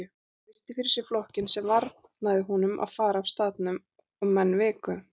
Hann virti fyrir sér flokkinn sem varnaði honum farar af staðnum og menn viku.